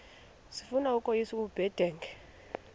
sifuna ukweyis ubudenge